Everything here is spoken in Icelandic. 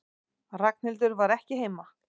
Ragnhildur var ekki heima.